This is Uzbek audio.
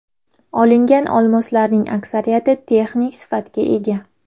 Olingan olmoslarning aksariyati texnik sifatga ega.